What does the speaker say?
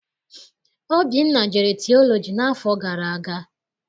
Obinna jere tiọlọji n'afọ gara aga.